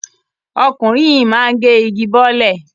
Ọkùnrin yìí máa gé igi bọ́lẹ̀.